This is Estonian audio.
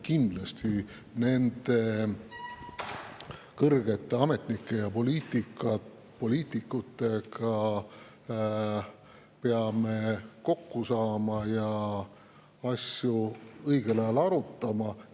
Kindlasti peame me nende kõrgete ametnike ja poliitikutega kokku saama ja õigel ajal asju arutama.